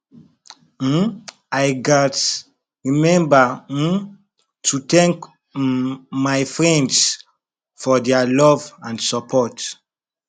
um i gats remember um to thank um my friends for their love and support